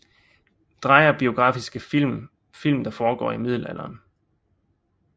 Dreyer Biografiske film Film der foregår i middelalderen